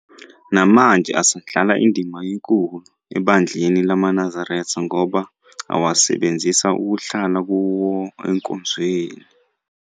Namanje asadlala indima enkulu ebandleni lamaNazaretha ngoba asawasebenzisa ukuhlala kuwo enkonzweni.